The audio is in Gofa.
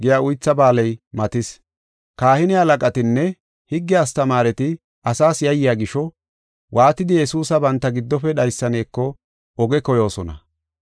Kahine halaqatinne higge astamaareti ase yayiya gisho, waatidi Yesuusa banta giddofe dhaysaneko oge koyoosona.